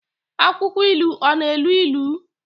Akwụkwọ ilu ọ na-elu ilu?